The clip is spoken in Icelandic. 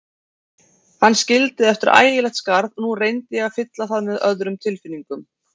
Hann skildi eftir ægilegt skarð og nú reyndi ég að fylla það með öðrum tilfinningum.